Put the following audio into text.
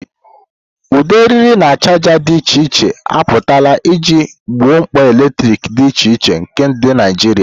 Ụdị eriri na chaja dị iche iche apụtala iji gboo mkpa eletrik dị iche iche nke ndị Naijiria.